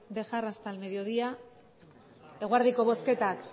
dejar hasta el mediodía eguerdiko bozketak